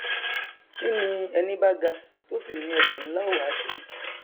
kí ni ẹní bá ga tó sì ní ẹsẹ nlá ó wa ṣe